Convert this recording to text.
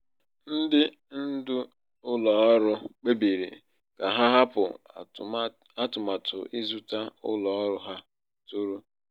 ndị ndu ụlọ ọrụ kpebiri ka ha hapụ atụmatụ ịzụta ụlọ ọrụ ha tụrụ.